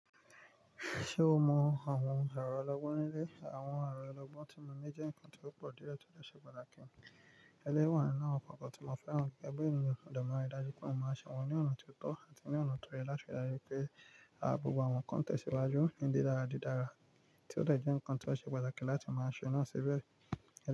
Ṣe o mọ awọn ọrọ ologbon nile? Awọn ọrọ ologbon ti mọ ni jẹ nkan ti o pọ diẹ ti o ṣe pataki. Elewa naa papo ti mọ feran gege bi eniyan mo de mari daju pe mo maa ṣe wọn ni ọna ti o tọ ati ni ọna to yẹ lati rii pe a gbogbo awọn nkan tẹsiwaju ni didara didara ti o de jẹ nkan ti o ṣe pataki lati mọ ṣe naa ṣi bẹẹ.